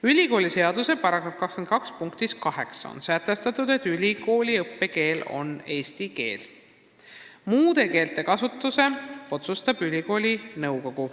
" Ülikooliseaduse § 22 punktis 8 on sätestatud, et ülikooli õppekeel on eesti keel ja muude keelte kasutuse otsustab ülikooli nõukogu.